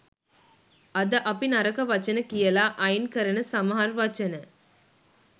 අද අපි නරක වචන කියලා අයින් කරන සමහර් වචන